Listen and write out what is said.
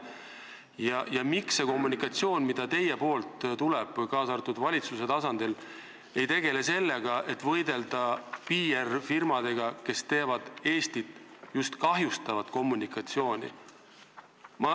Ja miks te nimetatud kommunikatsiooni käigus ei tegele ka valitsuse tasandil sellega, et võidelda PR-firmadega, kes oma tegevusega Eesti mainet kahjustavad?